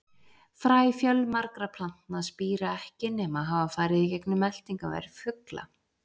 Fræ fjölmargra plantna spíra ekki nema hafa farið í gegnum meltingarveg fugla.